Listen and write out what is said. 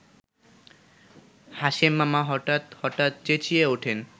হাশেমমামা হঠাৎ হঠাৎ চেঁচিয়ে ওঠেন